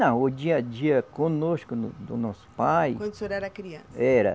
Não, o dia a dia conosco, no do nosso pai. Quando o senhor era criança? Era